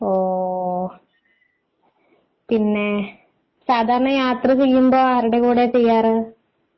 ഓ... പിന്നെ സാധാരണ യാത്ര ചെയ്യുമ്പോൾ ആരുടെ കൂടെയാണ് ചെയ്യാറ്?